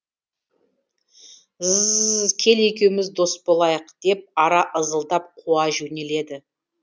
з з з зз кел екеуміз дос болайық деп ара ызылдап қуа жөнеледі